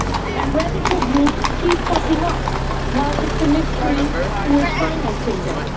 and radical groups keep popping up, although it is a mystery who is financing them.